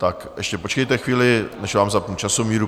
Tak ještě počkejte chvíli, než vám zapnu časomíru.